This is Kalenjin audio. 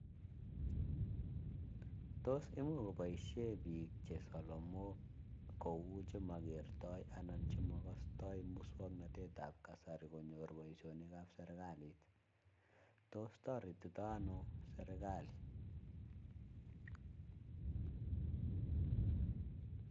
Tos imuch koboishe biik che solomok kou chemakertoi anan chemakastoi muswoknatetab kasari konyor boisionikab serikalit. Tos toretitoi anoo serikali?